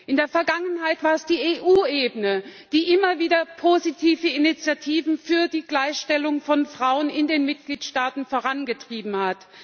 In der Vergangenheit war es die EU Ebene, die immer wieder positive Initiativen für die Gleichstellung von Frauen in den Mitgliedstaaten vorangetrieben hat.